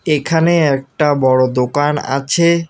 এখানে একটা বড় দোকান আছে।